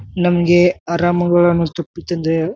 ನಮ್ಮಗೆ ಆರಾಮಗ್ ಅನ್ನ ಸ್ತತಿ ಪಿಚ್ನ್ ಜಯ.